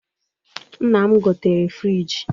Nna m gotere frịji